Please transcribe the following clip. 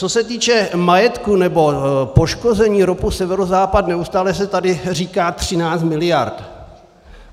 Co se týče majetku nebo poškození ROPu Severozápad, neustále se tady říká 13 miliard.